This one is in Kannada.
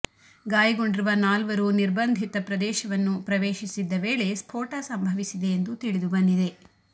ಗಾಯಗೊಂಡಿರುವ ನಾಲ್ವರು ನಿರ್ಬಂಧಿತ ಪ್ರದೇಶವನ್ನು ಪ್ರವೇಶಿಸಿದ್ದ ವೇಳೆ ಸ್ಫೋಟ ಸಂಭವಿಸಿದೆ ಎಂದು ತಿಳಿದು ಬಂದಿದೆ